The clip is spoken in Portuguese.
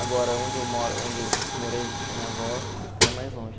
Agora, onde eu moro onde eu morei com a minha avó, era mais longe.